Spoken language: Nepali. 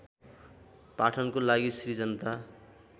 पाठनको लागि श्री जनता